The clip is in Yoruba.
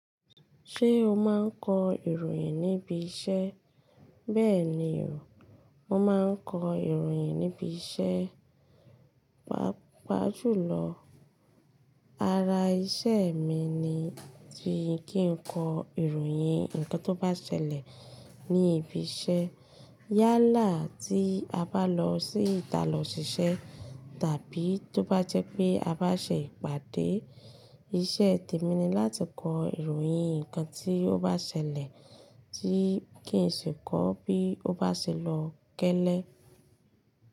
Ṣé o máa ń kọ ìròyìn níbi iṣẹ́? Bẹ́ẹ̀ni o, mo máa ń kọ ìròyìn níbi iṣẹ́. Papá jùlọ, ara iṣẹ́ mi ni tí kí n kọ ìròyìn ǹkan tó bá ṣẹlẹ̀ ní ibi iṣẹ́ yálà tí a bá lọ sí ìta lọ ṣiṣẹ́ tàbí tó bá jẹ́ pé a bá ṣe ìpàdé. Iṣẹ́ tèmi ni láti kọ ìròyìn ǹkan tí ó bá ṣẹlẹ̀ tí kí n sì kọ bí ó bá ṣe lọ gẹ́lẹ́